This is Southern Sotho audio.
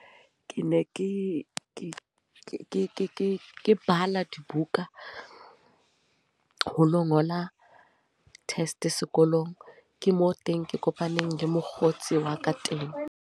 Ke ne ke bala dibuka. Ho lo ngola test sekolong. Ke moo teng ke kopaneng le mokgotsi wa ka teng.